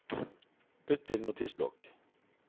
Bytt til Notisblokk